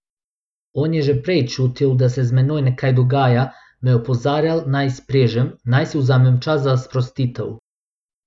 On je že prej čutil, da se z menoj nekaj dogaja, me opozarjal, naj izprežem, naj si vzamem čas za sprostitev.